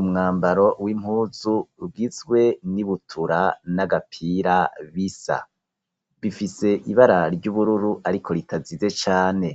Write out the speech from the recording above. Umwambaro w'impuzu ugizwe n'ibutura n'agapira bisa , bifise ibara ry'ubururu ariko ritazize cane